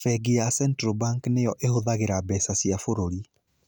Bengi ya Central Bank nĩyo ĩhũthagĩra mbeca cia bũrũri.